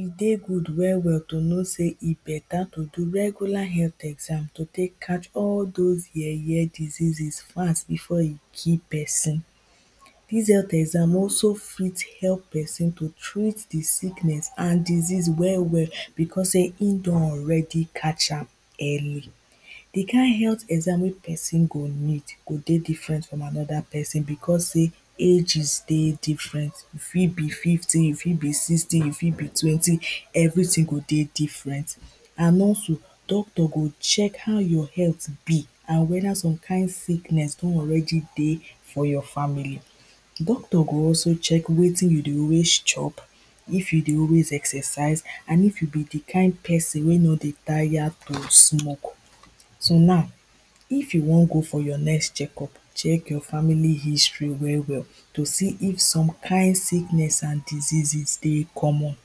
E dey good well well to know sey e better to do regular health exam to take catch all dose yeye diseases fast before e kill pesin, dis health exam also fit help pesin to treat di sickness and disease well well becos sey im don already catch am early. Di kind health exam wey pesin go need go dey different from anoda pesin becos sey ages dey different e fit be fifty, e fit be sixty, e fit be twenty, everytin go dey different and also doctor go check how your health be and wether some kind sickness don already dey for your family, doctor go also check wetin you dey always chop, if you dey always exercise and if you be di kind pesin wey no dey tire to smoke, so now if you wan go for your next check up check your family history well well, to see if some kind sickness and diseases dey common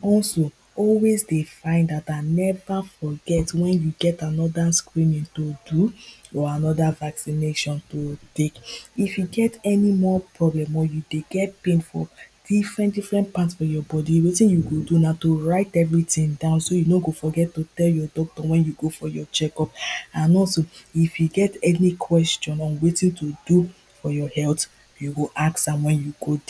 also always dey find out dat never forget dat wen you get anoda screening to do or anoda vaccination to take, if you get any more problem or you dey get pain for different different part for your body wetin you go do na to write everytin down body so you no go forget to tell your doctor wen you go for your check up and also if you get any question on wetin to do for your health you go ask am wen you go.